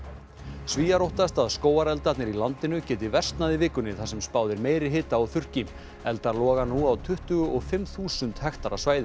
Svíar óttast að skógareldarnir í landinu geti versnað í vikunni þar sem spáð er meiri hita og þurrki eldar loga nú á tuttugu og fimm þúsund hektara svæði